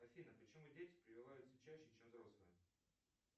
афина почему дети прививаются чаще чем взрослые